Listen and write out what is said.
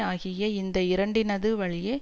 ஆகிய இந்த இரண்டினது வழியே